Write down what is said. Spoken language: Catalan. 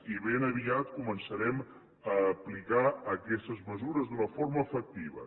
i ben aviat començarem a aplicar aquestes mesures d’una forma efectiva